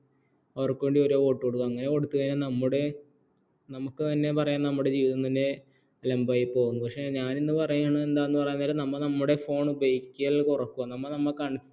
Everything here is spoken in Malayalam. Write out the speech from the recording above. അവർക്ക് വേണ്ടി ഓരോ vote കൊടുക്കും അങ്ങനെ കൊടുത്തുകഴിഞ്ഞാൽ നമ്മുടെ നമുക്ക് തന്നെ പറയാം നമ്മുടെ ജീവിതം തന്നെ അലമ്പായിപ്പോകും പക്ഷേ ഞാൻ ഇന്ന് പറയേണ എന്താന്നുപറഞ്ഞാൽ നമ്മ നമ്മുടെ phone ഉപയോഗിക്കൽ കുറയ്ക്ക